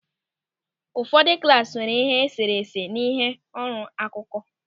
Ụfọdụ klasị nwere ịhe e sere ese na ịhe ọrụ n'akụkụ.